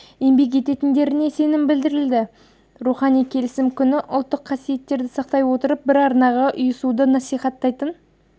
еңбек ететіндеріне сенім білдірілді рухани келісім күні ұлттық қасиеттерді сақтай отырып бір арнаға ұйысуды насихаттайтын